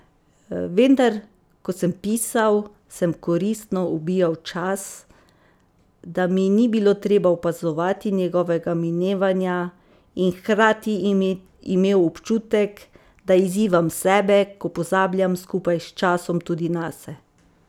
Vendar, ko sem pisal, sem koristno ubijal čas, da mi ni bilo treba opazovati njegovega minevanja, in hkrati imel občutek, da izzivam sebe, ko pozabljam skupaj s časom tudi nase.